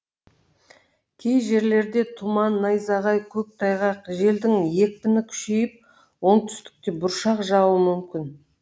кей жерлерде тұман найзағай көктайғақ желдің екпіні күшейіп оңтүстікте бұршақ жаууы мүмкін